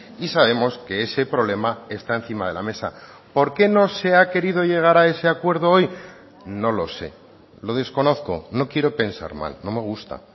y sabemos que ese problema está encima de la mesa por qué no se ha querido llegar a ese acuerdo hoy no lo sé lo desconozco no quiero pensar mal no me gusta